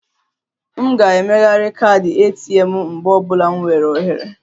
M ga-emegharị kaadị ATM m mgbe ọ bụla m nweere ohere